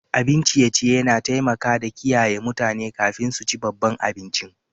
Abin ciye-ciye na taimaka da kiyaye mutane kafin su ci babban abincin.